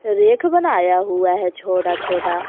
रेख बनाया हुआ है छोटा छोटा।